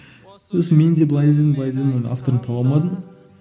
сосын менде былай іздедім былай іздедім оның авторын таба алмадым